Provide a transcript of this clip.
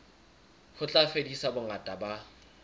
ho tla fedisa bongata ba